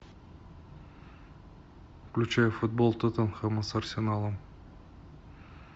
включай футбол тоттенхэма с арсеналом